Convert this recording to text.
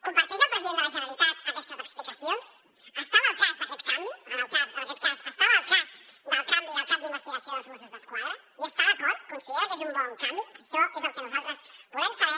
comparteix el president de la generalitat aquestes explicacions estava al cas d’aquest canvi en aquest cas estava al cas del canvi del cap d’investigació dels mossos d’esquadra hi està d’acord considera que és un bon canvi això és el que nosaltres volem saber